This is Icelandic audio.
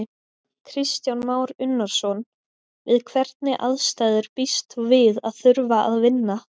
Kristján Már Unnarson: Við hvernig aðstæður býst þú við að þurfa að vinna?